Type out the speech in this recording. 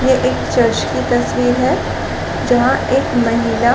ये एक चर्च की तस्वीर है जहां एक महिला--